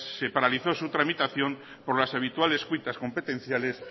se paralizó su tramitación por las habituales cuitas competenciales